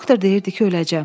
Doktor deyirdi ki, öləcəm.